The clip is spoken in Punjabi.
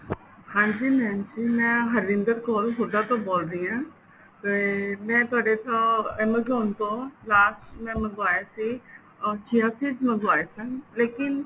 ਹਾਂਜੀ mam ਜੀ ਮੈਂ ਹਰਿੰਦਰ ਕੌਰ ਹੁਡਾ ਤੋਂ ਬੋਲ ਰਹੀ ਆ ਤੇ ਮੈ ਤੁਹਾਡੇ ਤੋਂ amazon ਤੋਂ last ਮੈਂ ਮੰਗਵਾਇਆ ਸੀ chia seeds ਮੰਗਵਾਏ ਸਨ ਲੇਕਿਨ